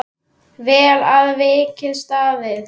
Vel að verki staðið!